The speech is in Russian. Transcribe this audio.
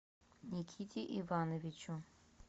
никите ивановичу